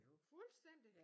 Fuldstændig